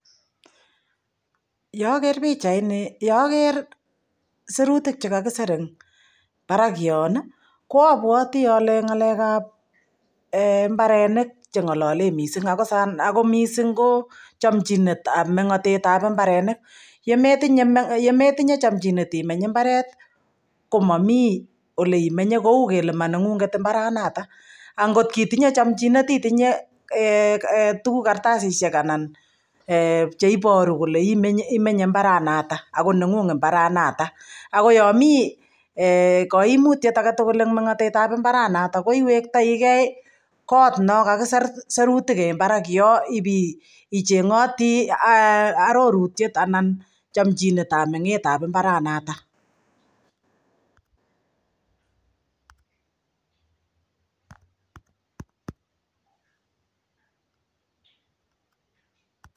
Ye aker pichaini, ye aker siruutik che kakisir en parak yon i, ko apwati ale ng'alek ap mbareniik che ng'alale missing', ako missing' ko chamichinet ap meng'atet ap mbarenik. Ye metinye chamchinet imeny mbaret ko mami ole imenye kou kele ma neng'ung'et mbaranatak. Angot itinye chamchinet itinye tuguuk, karatasishek, che iparu kole imenye mbaranatak ako neng'ung' mbaranatak. Ako yami kaimitiet age tugul eng' meng'atet ap i mbaranatak ko iwektaigei kot no kakisir sirutiik en parak yo ipi cheng'ati arorutiet anan chamchinet ap meng'et ap mbaranatak.